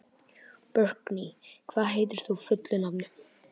Burkney, hvað heitir þú fullu nafni?